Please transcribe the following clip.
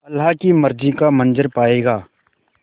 अल्लाह की मर्ज़ी का मंज़र पायेगा